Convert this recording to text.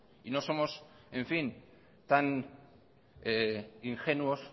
y no somos tan ingenuos